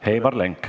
Heimar Lenk.